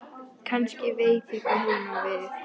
Kannski veit ég hvað hún á við.